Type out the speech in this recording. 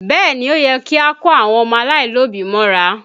Bẹẹ ni, ó yẹ kí a kó àwọn ọmọ aláìlóbí mọ́ra